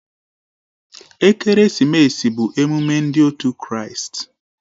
Ekeresimesi bụ emume ndị òtù Kraịst